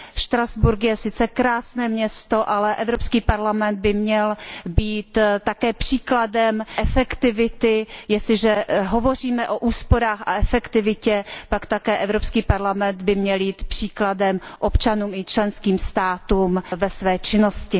Štrasburk je sice krásné město, ale Evropský parlament by měl být také příkladem efektivity, jestliže hovoříme o úsporách a efektivitě, pak také Evropský parlament by měl jít příkladem občanům i členským státům ve své činnosti.